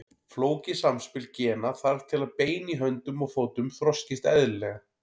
Flókið samspil gena þarf til að bein í höndum og fótum þroskist eðlilega.